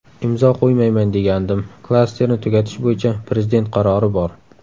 Imzo qo‘ymayman degandim, ‘Klasterni tugatish bo‘yicha, Prezident qarori bor.